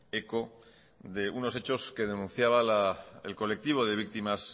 eco de unos hechos que denunciaba el colectivo de víctimas